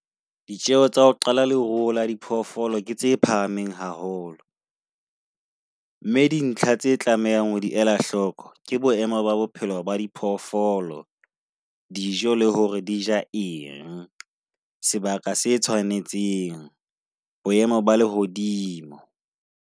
Ditjeho tsa ho qala le ruo la diphoofolo tse phahameng haholo. Mme dintlha tse tlamehang ho di ela hloko ke boemo ba bophelo ba di phoofolo, dijo le hore di ja eng. Sebaka se tshwanetseng, boemo ba le hodimo.